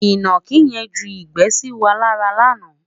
inaki yen ju igbe sí wà lára lànà